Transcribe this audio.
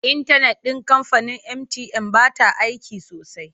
Intanet ɗin kamfanin mtn ba ta aiki sosai.